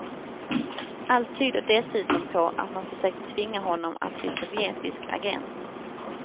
Allt tyder dessutom på att man försökte tvinga honom att bli sovjetisk agent.